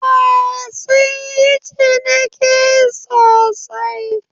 Eh, sun yi ciniki sosai